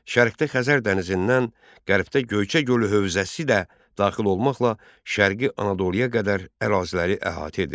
Şərqdə Xəzər dənizindən, qərbdə Göyçə gölü hövzəsi də daxil olmaqla Şərqi Anadoluya qədər əraziləri əhatə edirdi.